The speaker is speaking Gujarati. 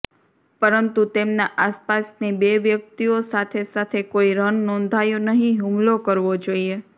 પરંતુ તેમના આસપાસની બે વ્યક્તિઓ સાથે સાથે કોઈ રન નોંધાયો નહીં હુમલો કરવો જોઈએ